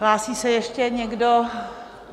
Hlásí se ještě někdo?